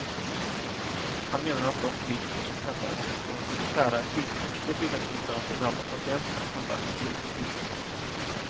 Han menar att de politiker som hävdar att det går att skära i sjukvårdsbudgeten utan att det drabbar patienterna handlar i god tro.